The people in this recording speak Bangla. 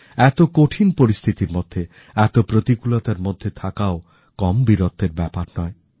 এত কঠিন পরিস্থিতির মধ্যে এত প্রতিকূলতার মধ্যে থাকাও কম বীরত্বের ব্যাপার নয়